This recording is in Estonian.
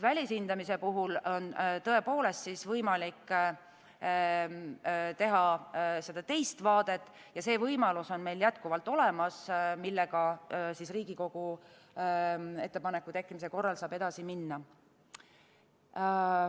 Välishindamise puhul on tõepoolest võimalik teine vaade ja see võimalus on meil jätkuvalt olemas, millega Riigikogu ettepaneku tekkimise korral saab edasi minna.